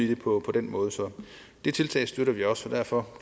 det på den måde så det tiltag støtter vi også derfor